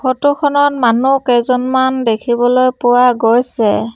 Photo খনত মানুহ কেইজনমান দেখিবলৈ পোৱা গৈছে।